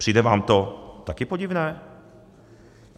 Přijde vám to taky podivné?